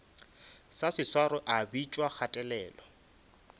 sa seswaro a bitšwa kgatelelo